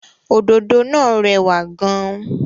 Òdòdó náà rẹwà gan-an.